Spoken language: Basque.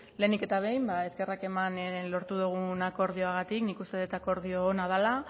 lehenik eta behin eskerrak eman lortu dugun akordioagatik nik uste dut akordio ona dela